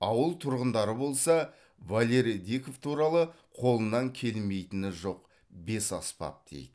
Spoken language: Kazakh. ауыл тұрғындары болса валерий диков туралы қолынан келмейтіні жоқ бесаспап дейді